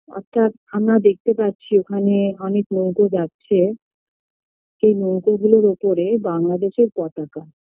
অর্থাৎ আমারা দেখতে পাচ্ছি ওখানে অনেক নৌকো যাচ্ছে সে নৌকো গুলোর ওপরে বাংলাদেশের পতাকা